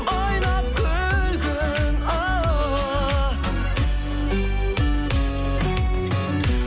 ойнап күлгін ооо